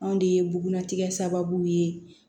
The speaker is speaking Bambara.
Anw de ye bugunnatigɛ sababu ye